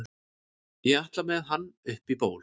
ég ætla með hann upp í ból